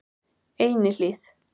Einihlíð